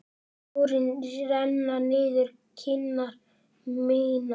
Tárin renna niður kinnar mínar.